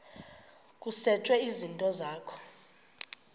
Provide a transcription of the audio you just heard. kusetshwe izinto zakho